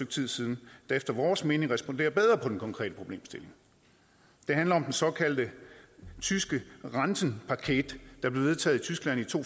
tid siden der efter vores mening responderer bedre på den konkrete problemstilling det handler om den såkaldte tyske rentenpaket der blev vedtaget i tyskland i to